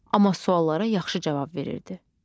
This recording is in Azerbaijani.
Amma suallara yaxşı cavab verirdi.